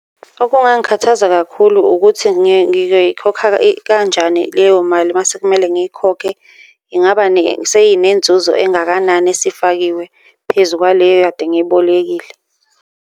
Okungangikhathaza kakhulu ukuthi ngiyikhokha kanjani leyo mali mase kumele ngiyikhokhe? Ingaba seyinenzuzo engakanani esifakiwe phezu kwaleyo ekade ngiyibolekile.